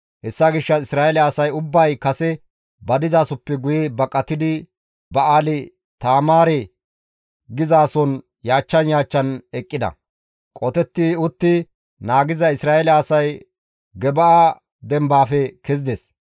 Hessa gishshas Isra7eele asay ubbay kase ba dizasoppe guye baqatidi Ba7aali-Taamaare geetettizason yaachchan yaachchan eqqida; qotetti utti naagiza Isra7eele asay Gibi7a dembaafe kezides;